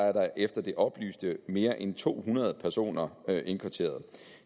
er der efter det oplyste mere end to hundrede personer indkvarteret